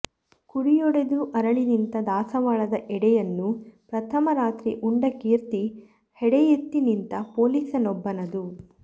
ಕುಡಿಯೊಡೆದು ಅರಳಿನಿಂತ ದಾಸವಾಳದ ಎಡೆಯನ್ನು ಪ್ರಥಮ ರಾತ್ರಿ ಉಂಡ ಕೀರ್ತಿ ಹೆಡೆಯೆತ್ತಿ ನಿಂತ ಪೊಲೀಸನೊಬ್ಬನದು